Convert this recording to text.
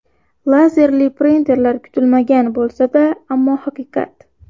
Lazerli printerlar Kutilmagan bo‘lsa-da, ammo haqiqat.